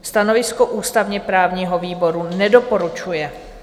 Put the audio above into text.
Stanovisko ústavně-právního výboru: nedoporučuje.